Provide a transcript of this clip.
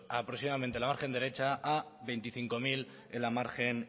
aproximadamente en la margen derecha a veinticinco mil en la margen